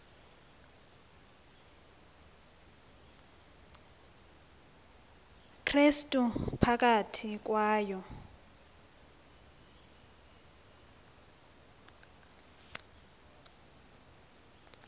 krestu phakathi kwayo